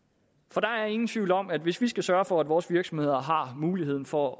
der er ingen tvivl om at hvis vi skal sørge for at vores virksomheder har mulighed for